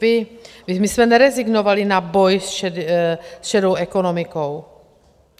My jsme nerezignovali na boj s šedou ekonomikou.